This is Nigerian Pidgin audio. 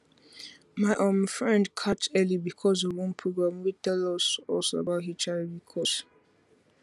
my um friend catch early because of one program wey tell us us about hiv cause